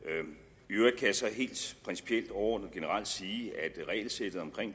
øvrigt kan jeg så helt principielt overordnet og generelt sige